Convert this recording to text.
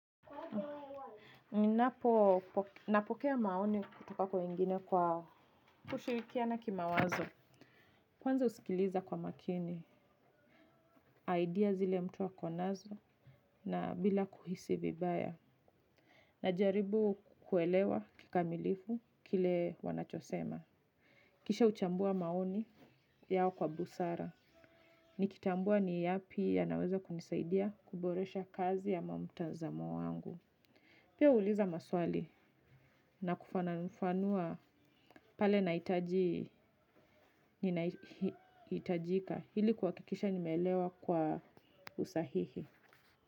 Napokea maoni kutoka kwa wengine kwa kushirikiana kimawazo. Kwanza husikiliza kwa makini, idea zile mtu hukua nazo na bila kuhisi vibaya. Najaribu kuelewa kikamilifu kile wanachosema. Kisha huchambua maoni yao kwa busara. Nikitambua ni yapi yanaweza kunisaidia kuboresha kazi ya mamtazamo wangu. Pia huuliza maswali na kufananafanua pale nahitajika ili kwakikisha nimelewa kwa usahihi.